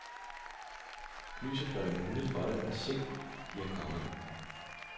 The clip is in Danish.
Lyset gør det muligt for dem at se, de er kommet.